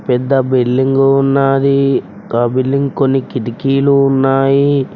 పెద్ద బిల్డింగు ఉన్నాది ఆ బిల్డింగ్ కొన్ని కిటికీలు ఉన్నాయి.